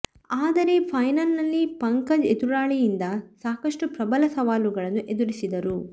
ಆದರೆ ಫೈನಲ್ ನಲ್ಲಿ ಪಂಕಜ್ ಎದುರಾಳಿಯಿಂದ ಸಾಕ ಷ್ಟು ಪ್ರಬಲ ಸವಾಲುಗಳನ್ನು ಎದುರಿಸಿದರು